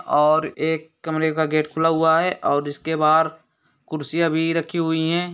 और एक कमरे का गेट खुला हुआ है और इसके बाहर कुर्सियां भी रखी हुई है।